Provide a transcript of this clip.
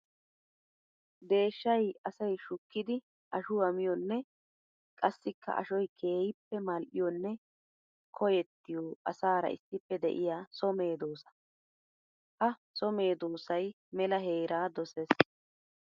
Deeshshay asay shukkiddi ashuwa miyonne qassikka ashoy keehippe mali'iyonne koyettiyo asaara issippe de'iya so medosa. Ha so medosay mela heera dosees.